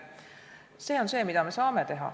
See on see, mida me saame teha.